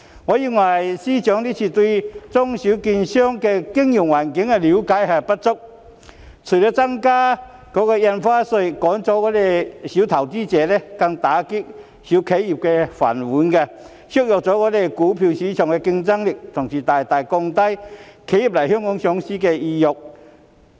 我認為司長這次對中小券商的經營環境了解不足，增加印花稅除了會趕走小投資者，更會打爛中小企的"飯碗"，削弱香港股票市場的競爭力，同時亦會大大降低企業來港上市的意欲。